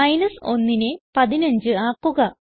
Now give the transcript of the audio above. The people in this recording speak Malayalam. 1നെ 15 ആക്കുക